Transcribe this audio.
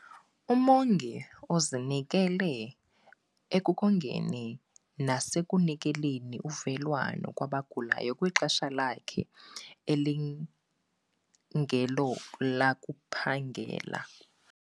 Umongi ozinikela ekongeni nasekunikeleni uvelwano kwabagulayo kwixesha lakhe elingelolakuphangela.